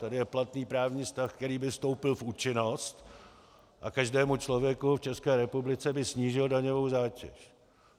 Tady je platný právní stav, který by vstoupil v účinnost a každému člověku v České republice by snížil daňovou zátěž.